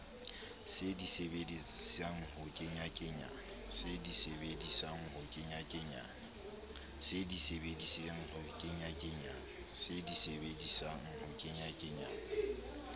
se di sebedisetsang ho kenyakenyana